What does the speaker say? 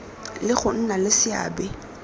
le go nna le seabe